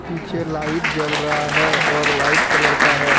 पीछे लाइट जल रहा है और वाइट कलर का है।